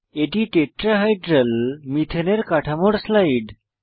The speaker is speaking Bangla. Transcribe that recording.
এটি টেট্রাহাইড্রাল মিথেনের কাঠামোর স্লাইড